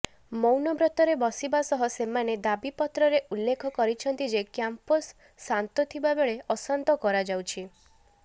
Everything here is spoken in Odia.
ମୌନବ୍ରତରେ ବସିବା ସହ ସେମାନେ ଦାବିପତ୍ରରେ ଉଲ୍ଲେଖ କରିଛନ୍ତି ଯେ କ୍ୟାମ୍ପସ ଶାନ୍ତ ଥିବା ବେଳେ ଅଶାନ୍ତ କରାଯାଉଛି